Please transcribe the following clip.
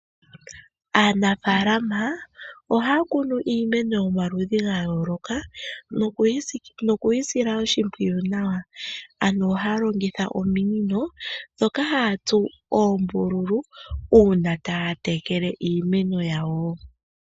Aanafalama ohaa kunu iimeno yomaludhi gayoloka nokuyi sila oshimpwiyu nawa. Ano ohaya longitha ominino dhoka haya tsu oombululu una taya tekele iimeno yawo.